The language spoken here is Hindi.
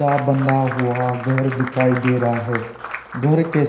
बंधा हुआ घर दिखाई दे रहा है घर के--